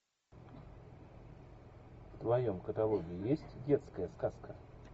в твоем каталоге есть детская сказка